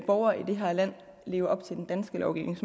borgere i det her land lever op til den danske lovgivning